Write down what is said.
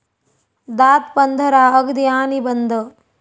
दात पंधरा, अगदी, आणि बंद